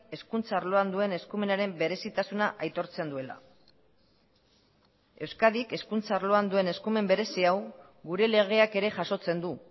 hezkuntza arloan duen eskumenaren berezitasuna aitortzen duela euskadik hezkuntza arloan duen eskumen berezi hau gure legeak ere jasotzen du